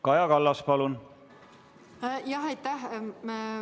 Kaja Kallas, palun!